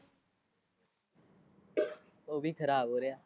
ਉਹ ਵੀ ਖਰਾਬ ਹੋ ਰਿਹਾ।